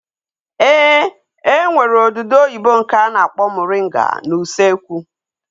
Ee, e nwere odudu oyibo nke a na-akpọ moringa n'usekwu